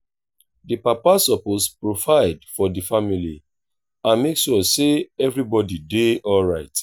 di papa suppose provide for di family and make sure sey everybodi dey alright